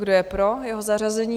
Kdo je pro jeho zařazení?